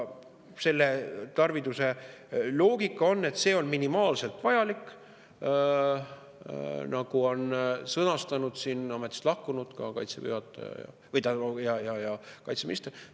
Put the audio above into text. Selle tarviduse loogika on, et see on minimaalselt vajalik, nagu on sõnastanud ametist lahkunud Kaitseväe juhataja ja kaitseminister.